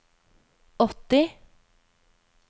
åtti